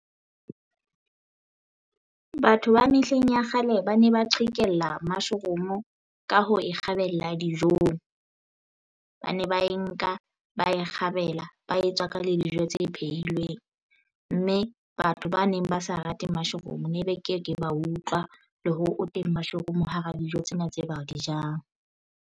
Batho ba mehleng ya kgale ba ne ba qhekella mushroom ka ho kgabela dijong ba ne ba e nka ba e kgabela ba etswaka le dijo tse pheilweng, mme batho ba neng ba sa rate mushroom ne be ke ke ba utlwa le hore o teng mushroom hara dijo tsena tse ba di jang.